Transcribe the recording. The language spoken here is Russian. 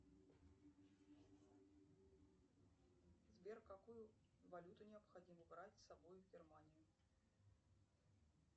сбер какую валюту необходимо брать с собой в германию